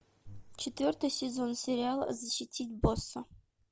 четвертый сезон сериала защитить босса